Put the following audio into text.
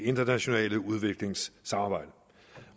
internationale udviklingssamarbejde